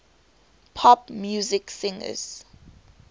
pop music singers